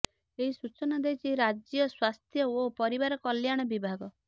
ଏହି ସୂଚନା ଦେଇଛି ରାଜ୍ୟ ସ୍ୱାସ୍ଥ୍ୟ ଓ ପରିବାର କଲ୍ୟାଣ ବିଭାଗ